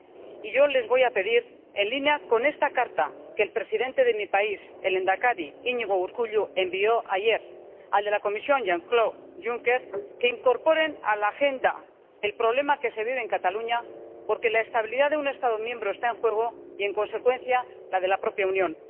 Y yo les voy a pedir, en línea con la carta que el presidente de mi país —el lehendakari Iñigo Urkullu-envió ayer al presidente de la Comisión Jean Claude Juncker, que incorporen a la agenda el problema que se vive en Cataluña, porque la estabilidad de un Estado miembro está en juego y, en consecuencia, la de la propia Unión.